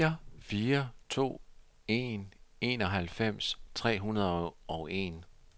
fire fire to en enoghalvfems tre hundrede og en